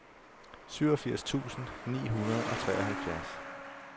syvogfirs tusind ni hundrede og treoghalvfjerds